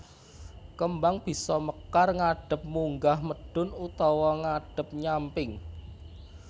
Kembang bisa mekar ngadhep munggah mudhun utawa ngadhep nyamping